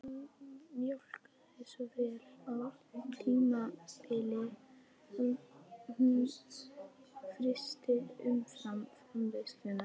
Hún mjólkaði svo vel á tímabili að hún frysti umfram-framleiðsluna